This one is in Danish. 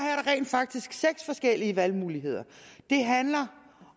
rent faktisk seks forskellige valgmuligheder det handler